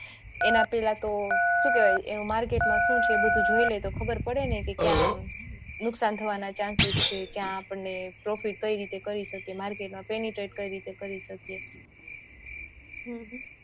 એના પેહલા તો શું કેવાય market માં શું છેએ બધું જોય લેતો ખબર પડે ને કે ક્યાં નુકશાન થવાના chances છે ક્યાં આપણે profit કઈ રીતે કરી શકીયે market માં penitrate કઈ રીતે કરી શકીયે